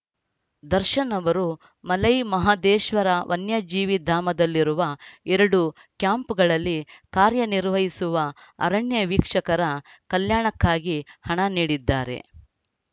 ದರ್ಶನ್‌ ಅವರು ಮಲೈಮಹದೇಶ್ವರ ವನ್ಯಜೀವಿಧಾಮದಲ್ಲಿರುವ ಎರಡು ಕ್ಯಾಂಪ್‌ಗಳಲ್ಲಿ ಕಾರ್ಯನಿರ್ವಹಿಸುವ ಅರಣ್ಯ ವೀಕ್ಷಕರ ಕಲ್ಯಾಣಕ್ಕಾಗಿ ಹಣ ನೀಡಿದ್ದಾರೆ